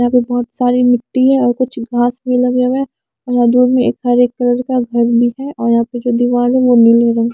यहाँ पे बहुत सारी मिट्टी है और कुछ घास भी लगे हुए हैं और यहाँ दूर में एक हरे कलर का घर भी है और यहाँ पे जो दीवार है वो नीले रंग --